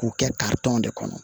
K'u kɛ de kɔnɔ